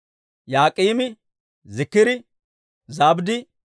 Yaak'iimi, Ziikiri, Zabddi,